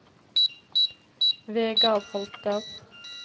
Vegard Holter